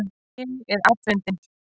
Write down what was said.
Ég er afundin.